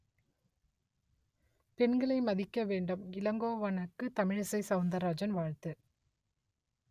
பெண்களை மதிக்க வேண்டும் இளங்கோவனுக்கு தமிழிசை சவுந்தராஜன் வாழ்த்து